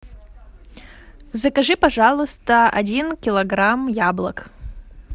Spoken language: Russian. закажи пожалуйста один килограмм яблок